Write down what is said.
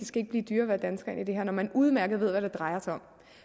skal blive dyrere at være dansker ind i det her når man udmærket ved hvad det drejer sig om